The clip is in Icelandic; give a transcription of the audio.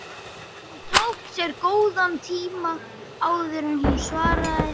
Hún tók sér góðan tíma áður en hún svaraði.